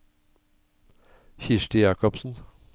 Kirsti Jakobsen